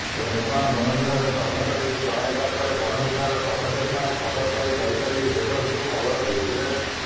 ରେବଣା ବନବିଭାଗ କର୍ମଚାରୀଙ୍କୁ ଜଣାଇଲା ପରେ ବନବିଭାଗ କର୍ମଚାରୀମାନେ ଖବର ପାଇ ଦୈତାରୀ ରେଞ୍ଜରକୁ ଖବର ଦେଇଥିଲେ